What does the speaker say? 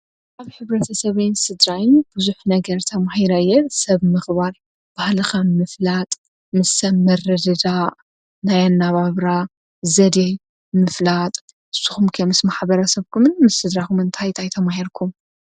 ኣብ ኅብረተ ሰበየን ስድራይን ብዙኅ ነገር ተማሂረየ ሰብ ምኽባር ባሃለኸ ምፍላጥ ምስ ሰብ መረድዳ ናይ ኣናባብራ ዘድይ ምፍላጥ ስኹምከ ምስ ማኃበረ ሰብኩምን ምስ ስድራኹም እንታይ ታይ ተማሄርኩም?